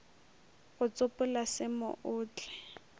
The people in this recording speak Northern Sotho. go tsopola se mo otle